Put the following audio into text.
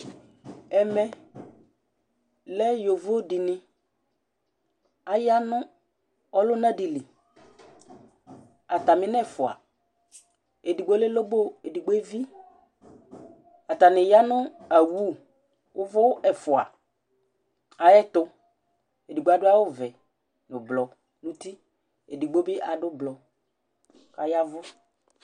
ɛmɛ lɛ yovo dini aya nu ɔluna di li, ata mi n' n'ɛfua, edigbo lɛ lobo , edigbo evi, ata ni ya nu awu uvu ɛfua ayɛtu, edigbo adu awu vɛ, nu blu n'uti edigbo bi adu blu kɔyavu